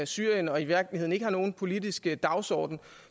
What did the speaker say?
syrien og i virkeligheden ikke har nogen politisk dagsorden